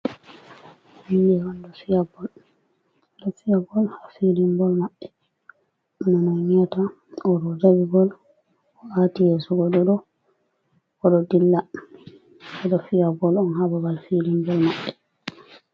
Himɓe on ɗo fiya bol ha filinbol maɓbe. Ɗo no on yi'ata oɗo dari be bol o aati yeso goɗɗo odo dilla ɓeɗo fiya bol on hababal filinbol maɓɓe.